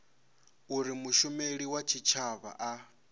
uri mushumeli wa tshitshavha a